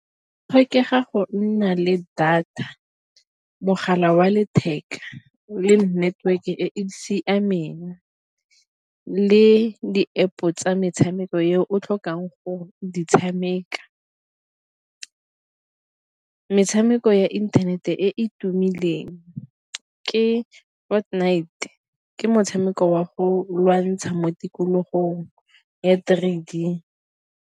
Go tlhokega go nna le data, mogala wa letheka le network e e siameng le di-App-o tsa metshameko e o tlhokang go e tshameka. Metshameko ya internet-e e tumileng ke ke motshameko wa go lwantsha mo tikologong ya three D.